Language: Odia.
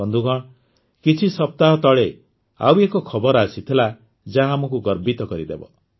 ବନ୍ଧୁଗଣ କିଛି ସପ୍ତାହ ତଳେ ଆଉ ଏକ ଖବର ଆସିଥିଲା ଯାହା ଆମକୁ ଗର୍ବିତ କରିଦେବ